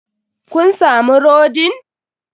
Kun samu rodin?